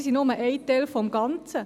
Sie sind aber nur ein Teil des Ganzen.